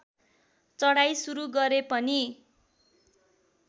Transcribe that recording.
चढाइ सुरू गरे पनि